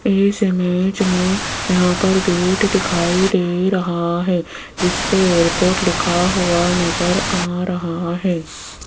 इस इमेज में यहां पर गेट दिखाई दे रहा है जिसपे एयरपोर्ट लिखा हुआ नजर आ रहा है।